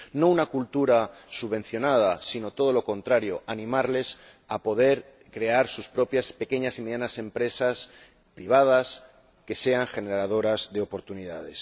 No una cultura subvencionada, sino todo lo contrario animarles a crear sus propias pequeñas y medianas empresas privadas, generadoras de oportunidades.